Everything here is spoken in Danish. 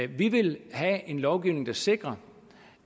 vi vil have en lovgivning der sikrer